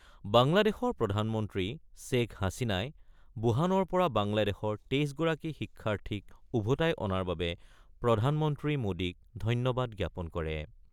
বাংলাদেশৰ প্ৰধানমন্ত্ৰী শ্বেখ হাছিনাই ৱুহানৰ পৰা বাংলাদেশৰ ২৩গৰাকী শিক্ষাৰ্থীক ওভোতাই অনাৰ বাবে প্ৰধানমন্ত্ৰী মোদীক ধন্যবাদ জ্ঞাপন কৰে।